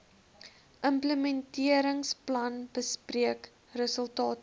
implementeringsplan bespreek resultate